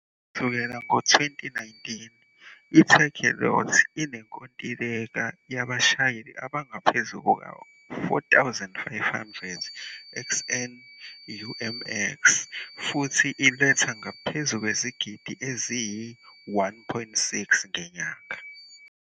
Kusukela ngo-2019, i-Takealot inenkontileka yabashayeli abangaphezu kuka-4,500 XNUMX futhi iletha ngaphezu kwezigidi eziyi-1.6 ngenyanga.